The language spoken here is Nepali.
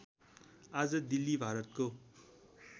आज दिल्ली भारतको